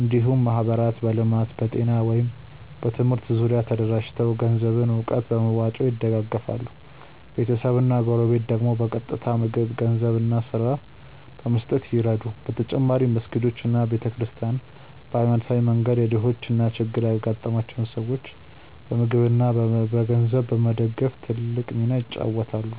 እንዲሁም ማህበራት በልማት፣ በጤና ወይም በትምህርት ዙሪያ ተደራጅተው ገንዘብና እውቀት በመዋጮ ይደግፋሉ፤ ቤተሰብና ጎረቤት ደግሞ በቀጥታ ምግብ፣ ገንዘብ እና ስራ በመስጠት ይረዱ። በተጨማሪም መስጊዶች እና ቤተ ክርስቲያናት በሃይማኖታዊ መንገድ የድሆችን እና ችግር ያጋጠማቸውን ሰዎች በምግብ እና በገንዘብ በመደገፍ ትልቅ ሚና ይጫወታሉ።